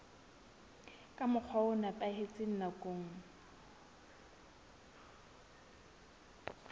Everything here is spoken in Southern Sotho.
ka mokgwa o nepahetseng nakong